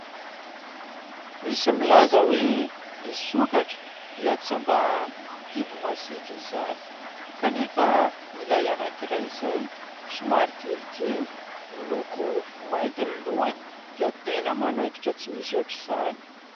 Misy milaza hoe ny sokatra dia tsy mba biby masiaka izany kanefa ilay anankiray izay somary kelikely, miloko mainty ny lohany dia tena manaikitra tsy misy ohatra izany.